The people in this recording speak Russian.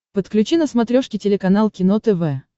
подключи на смотрешке телеканал кино тв